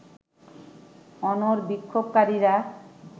অনড় বিক্ষোভকারীরা